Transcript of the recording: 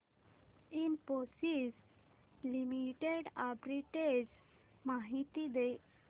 Infosys limited arbitrage माहिती दे